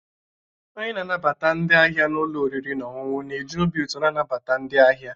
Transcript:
Onye na-anabata ndi ahia n'ulọ oriri na ọṅụṅụ na eji obi ụtọ na-anabata ndị ahịa